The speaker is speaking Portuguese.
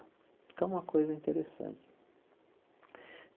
Então, uma coisa interessante.